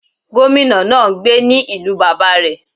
Gómìnà náà n gbé ní ìlú bàbá rẹ̀